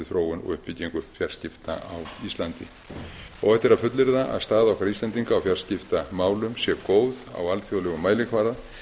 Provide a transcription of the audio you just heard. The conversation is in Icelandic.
þróun og uppbyggingu fjarskipta á íslandi óhætt er að fullyrða að staða okkar íslendinga á fjarskiptamálum sé góð á alþjóðlegum mælikvarða